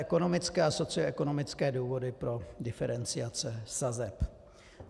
Ekonomické a socioekonomické důvody pro diferenciace sazeb.